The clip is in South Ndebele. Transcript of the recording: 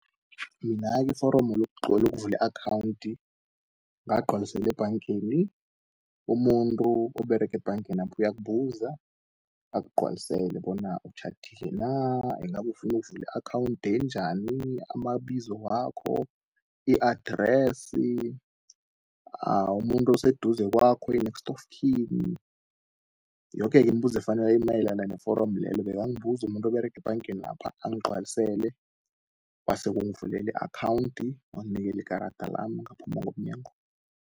Mina-ke iforomo lokuvuli i-akhawundi ngagcwalisele ebhangeni. Umuntu oberega ebhangenapha uyakubuza akgcwalisele, bona otjhadile na, ingabufunu ukuvula i-akhawundi enjani, amabizo wakho, i-address, umuntu oseduze kwakho i-next of king yoke iimbuzo efanele, emayelana neforomo lelo. Bekambuzu umuntu Uberege ebhangenapha angcwalisele, wasewangivuleli akhawunti wanginikeli ikarada lam ngaphuma ngomnyango.